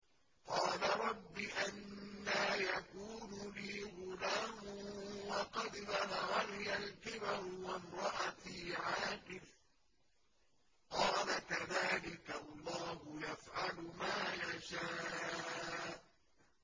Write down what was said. قَالَ رَبِّ أَنَّىٰ يَكُونُ لِي غُلَامٌ وَقَدْ بَلَغَنِيَ الْكِبَرُ وَامْرَأَتِي عَاقِرٌ ۖ قَالَ كَذَٰلِكَ اللَّهُ يَفْعَلُ مَا يَشَاءُ